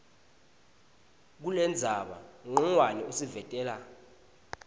kulendzaba ncongwane usivetela